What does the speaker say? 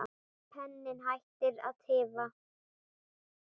Penninn hættir að tifa.